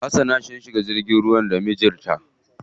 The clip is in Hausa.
Hasana sun shiga jirgin ruwa da mijin ta.